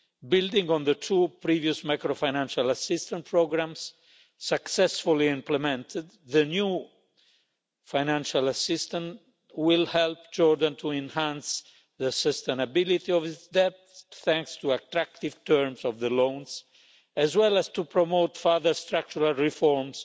Building on the two previous macrofinancial assistance programmes successfully implemented, the new financial assistance will help Jordan to enhance the sustainability of its debt thanks to attractive terms of the loans, as well as to promote further structural reforms